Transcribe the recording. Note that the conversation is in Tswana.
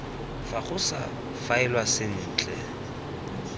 fa go sa faelwa sentle